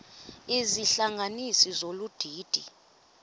izihlanganisi zolu didi